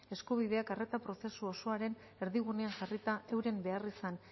eskubideak arreta prozesu osoaren erdigunean jarrita euren beharrizan